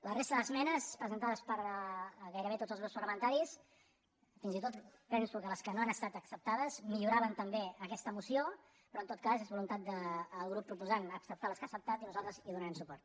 la resta d’esmenes presentades per gairebé tots els grups parlamentaris fins i tot penso que les que no han estat acceptades milloraven també aquesta moció pe·rò en tot cas és voluntat del grup proposant acceptar les que ha acceptat i nosaltres hi donarem suport